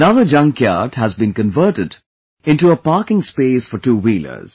Another junkyard has been converted into a parking space for two wheelers